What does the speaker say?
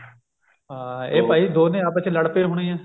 ਹਾਂ ਇਹ ਭਾਈ done ਆਪਸ ਚ ਲੜ ਗਏ ਹੋਣੇ ਆ